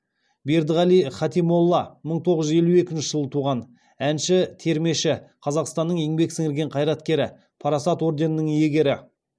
бердіғалиев хатимолла мың тоғыз жүз елу екінші жыл туған әнші термеші қазақстанның еңбек сіңірген қайраткері парасат орденінің иегері